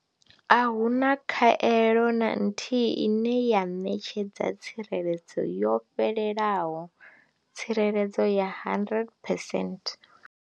A hu na khaelo na nthihi ine ya ṋetshedza tsireledzo yo fhelelaho tsireledzo ya 100 percent.